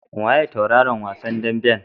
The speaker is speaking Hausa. Waye tauraron wasan daɓen?